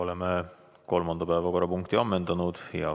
Oleme kolmanda päevakorrapunkti ammendanud.